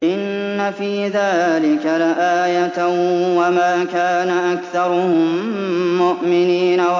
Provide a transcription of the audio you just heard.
إِنَّ فِي ذَٰلِكَ لَآيَةً ۖ وَمَا كَانَ أَكْثَرُهُم مُّؤْمِنِينَ